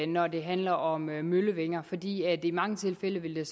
når det handler om vindmøllevinger fordi der i mange tilfælde ville